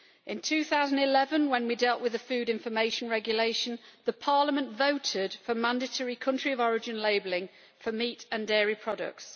In 2011 when we dealt with the food information regulation Parliament voted for mandatory country of origin labelling for meat and dairy products.